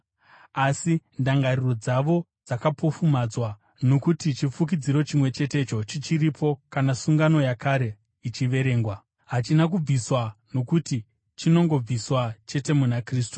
Asi ndangariro dzavo dzakapofumadzwa, nokuti chifukidziro chimwe chetecho chichiripo kana sungano yakare ichiverengwa. Hachina kubviswa, nokuti chinongobviswa chete muna Kristu.